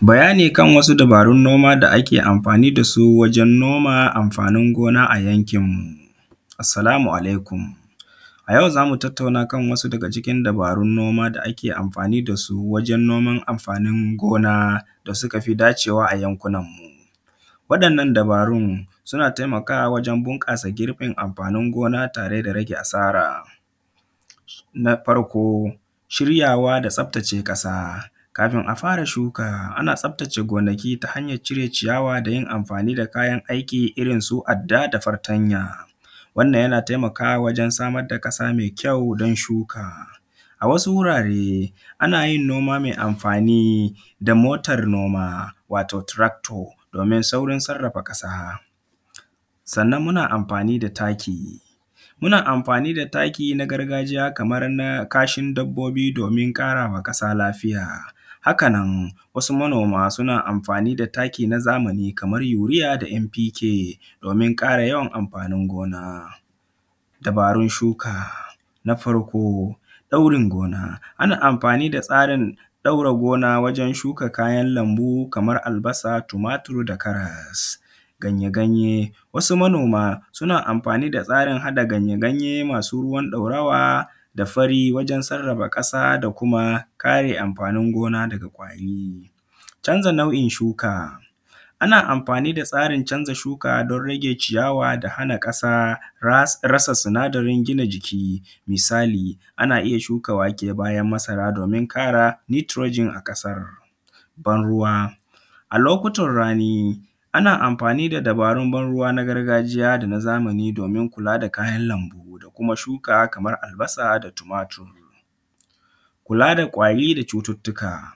Bayani kan wasu dubarun noma da ake anfani da su wajen noma anfanin gona a yankinmu. Assalamu alaikum a yau za mu tattauna akan wasu daga cikin dubarun noma da ake anfani da su wajen noman anfanin gona da suka fi dacewa a yankunanmu, wa’yannan dubarun suna taimakawa wajen bunƙasa girbin abun tare da rage asara, na farko shiryawa da tsaftace ƙasa kafin a fara shuka, ana tsaftace gonaki ta hanyan cire ciyawa da yin anfani da kayan aiki irinsu adda da fatanya wannan yana taimakawa wajen samar da ƙasa mai kyau don shuka. A wasu wurare ana yin gona mai anfani da motar noma wato tarakto domin saurin sarrafa ƙasa, sannan muna anfani da taki muna anfani da taki na gargajiya kaman na ƙashin dabbobi domin ƙara ma ƙasa lafiya, hak anan wasu manoma suna anfani da taki na zamani kaman urea da n p k domin ƙara yawan anfanin gona. Dubarun shuka na farko ɗaurin gona, ana anfani da tsarin ɗaura gona ta hanyan shuka kayan lanmbu kaman albasa, tumatur da karas, ganye. Ganye wasu manoma suna anfani da tsarin ganye-ganye masu ruwan ɗaurawa da fari wajen sarrafa ƙasa da ƙare anfanin gona ɗin daga kwari, canza nau’in shuka ana anfani da tsarin canza shuka don hana ciyawa da hana ƙasa sinadarin gina jiki, misali ana iya shuka wake bayan masara domin ƙara nitrogen a ƙasan. Ban ruwa a lokutan rani ana anfani da dabarun ban ruwa na gargajiya da na zamani domin kula da kayan lanbu da kuma shuka kaman albasa da tumatur. Kula da kwari da cututtuka,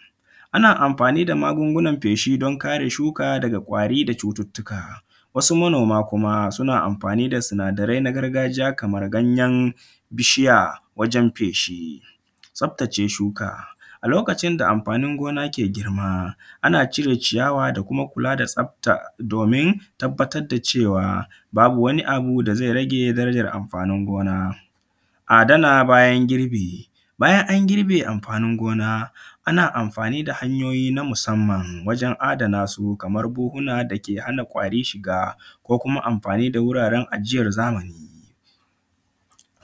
ana anfani da magungunan kwari don kare shuka daga kwari da cututtuka, wasu manoma kuma suna anfani da sinadarai na gargajiya kaman ganyen bishiya wajen feshi, tsaftace shuka a lokacin da anfani gona ke girma, ana cire ciyawa da kuma kula da tsafta domin tabbatar da cewa babu wani abu da ze rage wani anfanin gona. Adana bayan girbi, bayan an gibe anfanin gona, ana anfani da hanyoyi na musanman wajen adana su kaman buhuna dake hana kwari shiga ko kuma anfani da wuraren ajiyan zamani,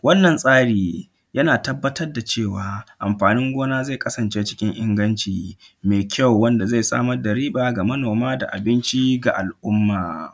wannan tsari yana tabbatar da cewa anfani gona zai kasance cikin inganci mai kyau wanda zai samar da riba wa manoma da abinci ga al’umma.